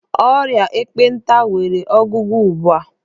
Ọrịa ekpenta nwere ọgwụgwọ ugbua.